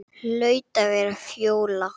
Hlaut að vera Fjóla.